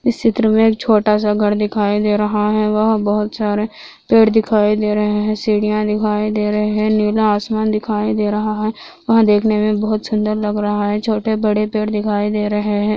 इस चित्र में एक छोटा सा घर दिखाई दे रहा है वहां बहुत सारे पेड़ दिखाई दे रहे है सीदिया दिखाई दे रहे है नीला आसमान दिखाई दे रहा है वो देखने में बहुत सूंदर लग रहा है छोटे-बड़े पेड़ दिखाई दे रहे है।